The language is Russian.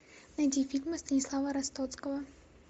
найди фильмы станислава ростоцкого